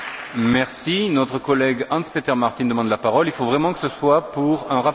Notre collègue Hans Peter Martin demande la parole, il faut vraiment que ce soit pour un rappel au règlement.